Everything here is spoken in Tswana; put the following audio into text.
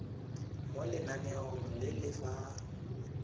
mo lenaneong le le fa